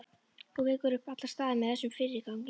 Þú vekur upp allan staðinn með þessum fyrirgangi.